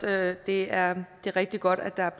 at det er rigtig godt at der er